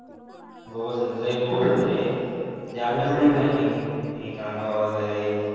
bogus म्हणजे लई bogus होती रे अभ्यास नाही काही घरी कामं वगैरे